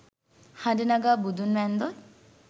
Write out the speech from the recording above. හඬ නගා බුදුන් වැන්දොත්